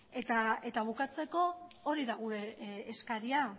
eta bukatzeko hori da gure eskaria